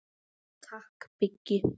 Takk Biggi.